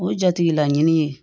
O jatigila ɲini ye